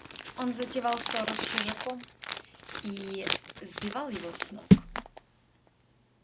он затевал ссору с чужаком и сбивал его с ног